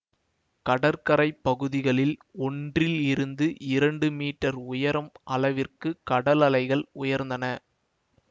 கடற்கரை பகுதிகளில் ஒன்றில் இருந்து இரண்டு மீட்டர் உயரம் அளவிற்கு கடலலைகள் உயர்ந்தன